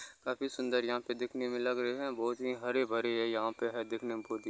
काफी सुंदर यहां पे दिखने में लग रहे है बहुत ही हरे-भरे है यहां पे है दिखने में बहुत ही --